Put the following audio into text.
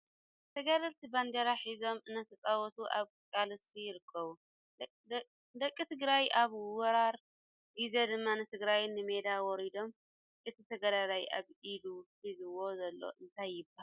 ተጋደልቲ ባንዴራ ሒዞም እናተጨወቱ ኣብ ቃልሲ ይርከቡ ። ደቂ ትግራይ ኣብ ወራር ግዜ ድማ ንትግራይ ንሜዳ ወሪዶም ።እቲ ተጋዳላይ ኣብ ኢዱ ሒዝዎ ዘሎ እንታይ ይባሃል?